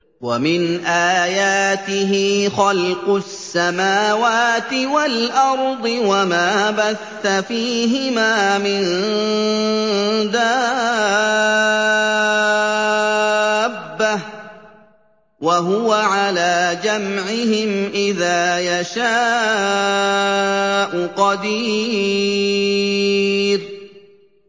وَمِنْ آيَاتِهِ خَلْقُ السَّمَاوَاتِ وَالْأَرْضِ وَمَا بَثَّ فِيهِمَا مِن دَابَّةٍ ۚ وَهُوَ عَلَىٰ جَمْعِهِمْ إِذَا يَشَاءُ قَدِيرٌ